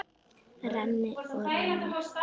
Renni og renni.